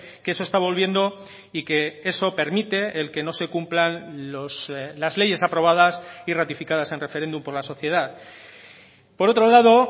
que eso está volviendo y que eso permite el que no se cumplan las leyes aprobadas y ratificadas en referéndum por la sociedad por otro lado